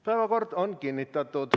Päevakord on kinnitatud.